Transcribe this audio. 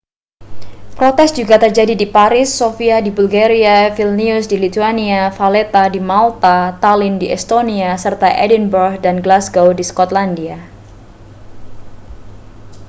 protes juga terjadi di paris sofia di bulgaria vilnius di lithuania valetta di malta tallinn di estonia serta edinburgh dan glasgow di skotlandia